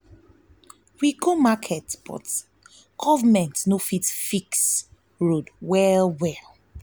we go market but government no fit fix road well well.